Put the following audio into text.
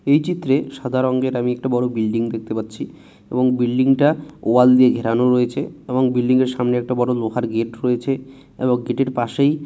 এই চিত্রে সাদা রঙের আমি একটা বড় বিল্ডিং দেখতে পাচ্ছি এবং বিল্ডিংটা টা ওয়াল দিয়ে ঘেরানো রয়েছে এবং বিল্ডিং এর সামনে একটা বড় লোহার গেট রয়েছে এবং গেটের ইর পাশেই--